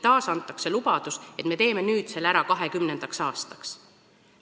Taas antakse lubadus, et me teeme selle ära 2020. aastaks.